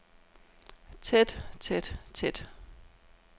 tæt tæt tæt